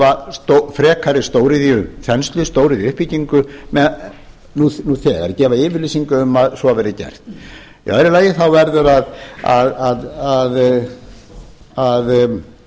að stöðva frekari þenslu frekari stóriðjuuppbyggingu nú þegar gefa yfirlýsingu um að svo verði gert í öðru lagi þá verður að